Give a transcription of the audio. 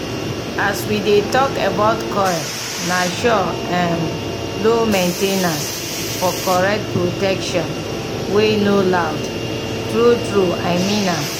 as we dey talk about coil na sure um low main ten ance --for correct protection wey no loud. true true i mean am